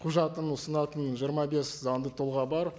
құжатын ұсынатын жиырма бес заңды тұлға бар